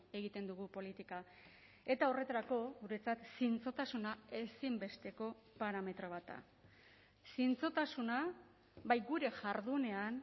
egiten dugu politika eta horretarako guretzat zintzotasuna ezinbesteko parametro bat da zintzotasuna bai gure jardunean